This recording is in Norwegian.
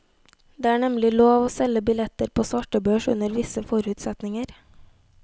Det er nemlig lov å selge billetter på svartebørs under visse forutsetninger.